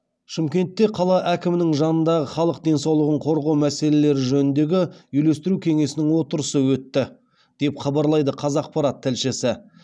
шымкентте қала әкімінің жанындағы халық денсаулығын қорғау мәселелері жөніндегі үйлестіру кеңесінің отырысы өтті деп хабарлайды қазақпарат тілшісі